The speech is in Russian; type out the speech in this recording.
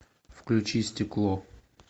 включи стекло